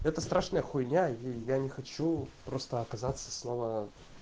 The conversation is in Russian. это страшная хуйня я я не хочу просто оказаться снова